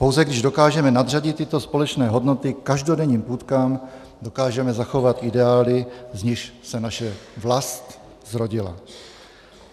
Pouze když dokážeme nadřadit tyto společné hodnoty každodenním půtkám, dokážeme zachovat ideály, z nichž se naše vlast zrodila.